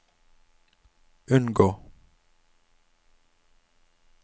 unngå